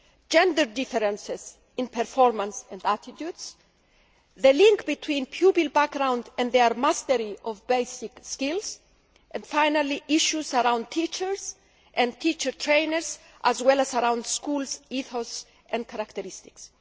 gender differences in performance and attitudes, the link between pupils' background and their mastery of basic skills and, finally, issues around teachers and teacher trainers as well as around schools' ethos and characteristics.